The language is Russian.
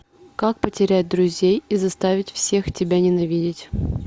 как потерять друзей и заставить всех тебя ненавидеть